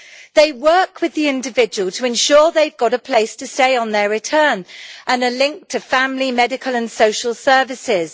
They work with the individual to ensure that they have got a place to stay on their return and are linked to family, medical and social services.